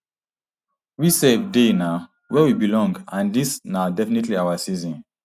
we um dey um wia we belong and dis na definitely our season